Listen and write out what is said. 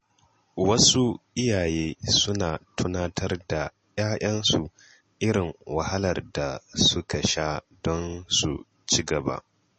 Wasu iyaye suna tunatar da ‘ya’yansu irin wahalar da suka sha don su ci gaba.